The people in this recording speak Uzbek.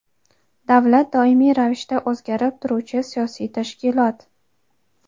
Davlat doimiy ravishda o‘zgarib turuvchi siyosiy tashkilot.